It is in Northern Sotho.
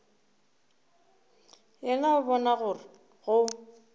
yena o bona gore go